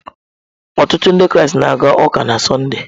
Ọtụtụ Ndị Kraịst na-aga ụka na Sọnde.